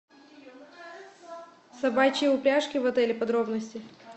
собачьи упряжки в отеле подробности